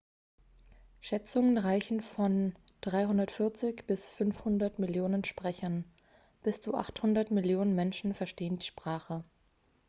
schätzungen reichen von 340 bis 500 millionen sprechern bis zu 800 millionen menschen verstehen die sprache